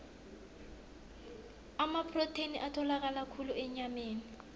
amaprotheni atholakala khulu enyameni